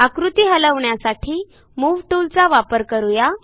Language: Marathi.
आकृती हलवण्यासाठी मूव टूलचा वापर करू या